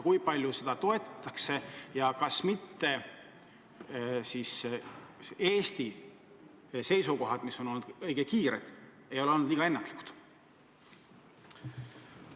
Kui palju seda toetatakse ja kas mitte Eesti õige kiire seisukohavõtt ei ole olnud ennatlik?